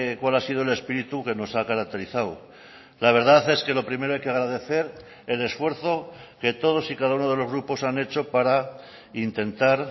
cuál ha sido el espíritu que nos ha caracterizado la verdad es que lo primero hay que agradecer el esfuerzo que todos y cada uno de los grupos han hecho para intentar